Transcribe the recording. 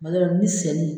Kuma dɔ la ni sɛni